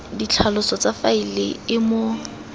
ditlhaloso tsa faele e mo